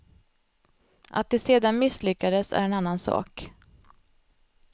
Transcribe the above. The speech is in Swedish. Att de sedan misslyckades är en annan sak.